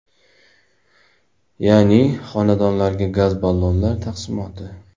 Ya’ni, xonadonlarga gaz ballonlar taqsimoti.